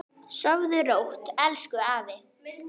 Sofðu rótt, elsku afi minn.